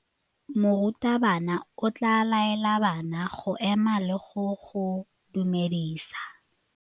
Morutabana o tla laela bana go ema le go go dumedisa.